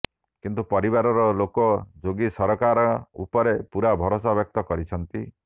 କିନ୍ତୁ ପରିବାର ଲୋକ ଯୋଗୀ ସରକାର ଉପରେ ପୁରା ଭରସା ବ୍ୟକ୍ତ କରିଛନ୍ତି